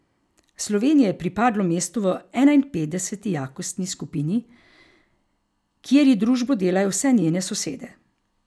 Sloveniji je pripadlo mesto v enainpetdeseti jakostni skupini, kjer ji družbo delajo vse njene sosede.